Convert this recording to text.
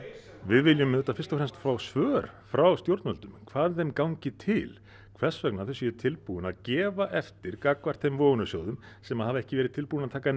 við viljum auðvitað fyrst og fremst fá svör frá stjórnvöldum hvað þeim gangi til hvers vegna þau séu tilbúin að gefa eftir gagnvart þeim vogunarsjóðum sem hafa ekki verið tilbúnir að taka